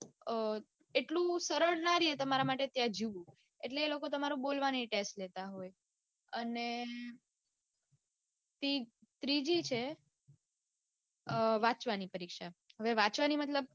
અઅ એટલું સરળ ના રે તમારે માટે ત્યાં જીવવું એટલે એ લોકો તમારો બોલવાનો પણ test લેતા હોય અને પછી ત્રીજી છે વાંચવાની પરીક્ષા હવે વાંચવાની પરીક્ષા મતલબ